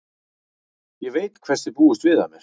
Ég veit hvers þið búist við af mér.